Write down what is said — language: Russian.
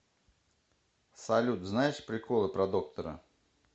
салют знаешь приколы про доктора